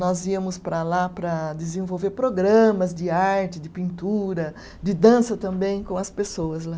Nós íamos para lá para desenvolver programas de arte, de pintura, de dança também com as pessoas lá.